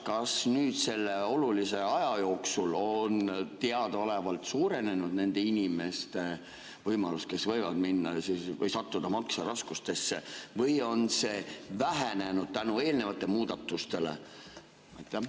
Kas nüüd selle olulise aja jooksul on teadaolevalt suurenenud nende inimeste võimalused, kes võivad sattuda makseraskustesse, või on see vähenenud tänu eelnevatele muudatustele?